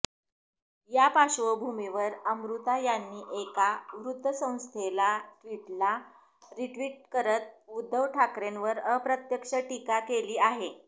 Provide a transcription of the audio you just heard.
या पार्श्वभूमीवर अमृता यांनी एका वृत्तसंस्थेच्या ट्विटला रिट्विट करत उद्धव ठाकरेंवर अप्रत्यक्ष टीका केली आहे